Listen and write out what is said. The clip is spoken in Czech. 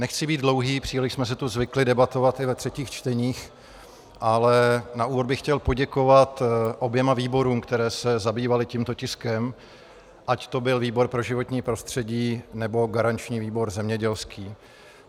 Nechci být dlouhý, příliš jsme si tu zvykli debatovat i ve třetích čteních, ale na úvod bych chtěl poděkovat oběma výborům, které se zabývaly tímto tiskem, ať to byl výbor pro životní prostředí, nebo garanční výbor zemědělský.